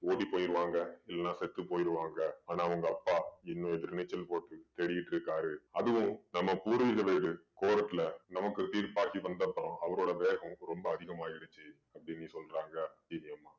ஓடி போயிடுவாங்க இல்லனா செத்து போயிடுவாங்க. ஆனா உங்க அப்பா இன்னும் எதிர் நீச்சல் போட்டு தேடிட்டிருக்காரு. அதுவும் நம்ம பூர்வீகம் இது court ல நமக்கு தீர்ப்பாகி வந்தப்பறம் அவரோட வேகம் ரொம்ப அதிகமாயிடுச்சு அப்படீன்னு சொல்றாங்க சீனி அம்மா.